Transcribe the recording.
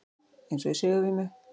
Eins og í sigurvímu.